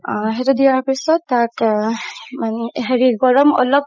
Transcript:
আ সেইটো দিয়াৰ পিছত তাক আহ মানে হেৰি গৰম অলপ